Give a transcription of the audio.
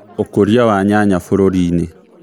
Ũkuria wa nyanya bũrũri-inĩ